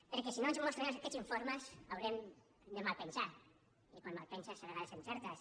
perquè si no ens mostren aquests informes haurem de malpensar i quan malpenses a vegades encertes